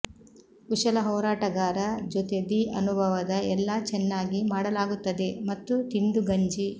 ಕುಶಲ ಹೋರಾಟಗಾರ ಜೊತೆ ದಿ ಅನುಭವದ ಎಲ್ಲಾ ಚೆನ್ನಾಗಿ ಮಾಡಲಾಗುತ್ತದೆ ಮತ್ತು ತಿಂದು ಗಂಜಿ